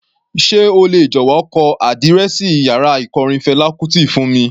Sé o lè jọ̀wọ́ kọ àdírẹ́ẹ̀sì yàrá ikọrin Fela Kuti fún mi?